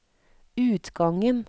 utgangen